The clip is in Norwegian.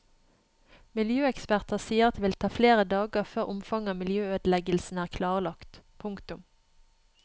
Miljøeksperter sier at det vil ta flere dager før omfanget av miljøødeleggelsene er klarlagt. punktum